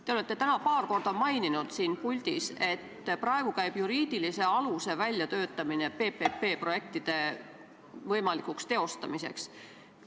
Te olete täna siin puldis paar korda maininud, et praegu käib juriidiliste aluste väljatöötamine PPP-projektide teostamiseks.